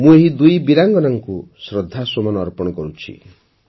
ମୁଁ ଏହି ଦୁଇ ବୀରାଙ୍ଗନାଙ୍କୁ ଶ୍ରଦ୍ଧାସୁମନ ଅର୍ପଣ କରୁଛି